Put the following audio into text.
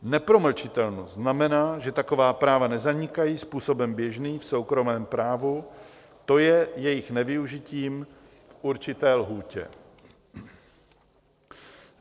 Nepromlčitelnost znamená, že taková práva nezanikají způsobem běžným v soukromém právu, to je jejich nevyužitím v určité lhůtě.